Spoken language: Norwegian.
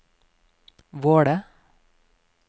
Våle